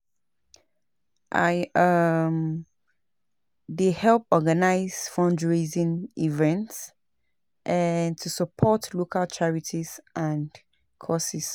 I um dey help organize fundraising events um to support local charities and causes.